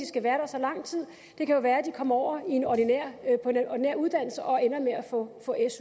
skal være der så lang tid det kan jo være at de kommer over på en ordinær uddannelse og ender med at få